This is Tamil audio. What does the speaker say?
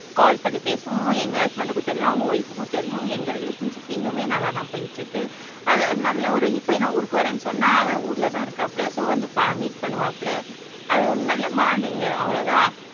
கால் பண்ணி பேசுவோம் எங்க ஹஸ்பண்டுக்கு தெரியும் அவங்க வைஃப்புக்கும் தெரியும் எங்க ரிலேஷன்ஷிப் இன்னுமே நல்லா தான் போயிட்டு இருக்கு நல்ல ஒரு இப்பயும் நான் ஊருக்கு வரேன்னு சொன்னா அவன் ஊர்ல தான் இருக்காப்ல சோ வந்து மீட் பண்ணுவாப்ல அது ஒரு நல்ல மானிங்கு அவ்ளோதான்